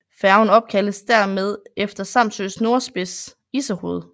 Færgen opkaldes dermed efter Samsøs nordspids Issehoved